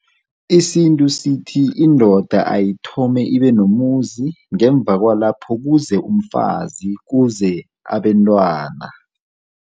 Isintu sithi indoda ayithome ibe nomuzi, ngemuva kwalapho, kuze umfazi, kuze abentwana.